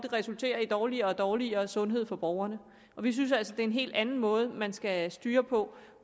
resulterer i dårligere og dårligere sundhed for borgerne og vi synes altså det er en helt anden måde man skal styre på